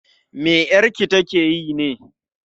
me 'yarki ta ke yi ne?